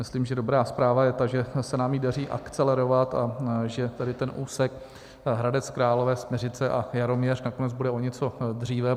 Myslím, že dobrá zpráva je ta, že se nám ji daří akcelerovat a že tedy ten úsek Hradec Králové - Smiřice a Jaroměř nakonec bude o něco dříve.